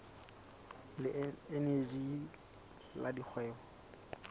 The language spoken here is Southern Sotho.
le eneji le la dikgwebo